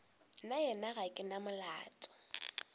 nnaena ga ke na molomo